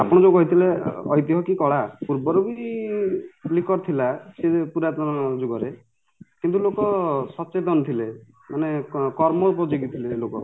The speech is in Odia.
ଆପଣ ଯୋଉ କହିଥିଲେ ଐତିହ କି କଳା ପୂର୍ଵରୁବି licker ଥିଲା ସେଇଯୋଉ ପୁରାତନ ଯୁଗରେ କିନ୍ତୁ ଲୋକ ସଚେତନ ଥିଲେ ମାନେ କର୍ମ ଉପଯୋଗୀ ଥିଲେ ଲୋକ